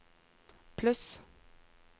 pluss